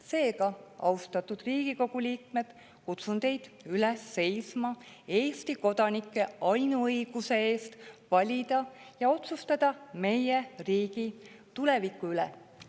Seega, austatud Riigikogu liikmed, kutsun teid üles seisma Eesti kodanike ainuõiguse eest valida ja otsustada meie riigi tuleviku üle.